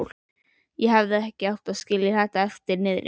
Ég hefði ekki átt að skilja þetta eftir niðri.